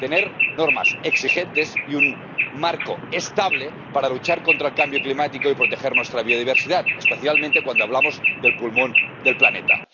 Tener normas exigentes y un marco estable para luchar contra el cambio climático y proteger nuestra biodiversidad, especialmente cuando hablamos del pulmón del planeta.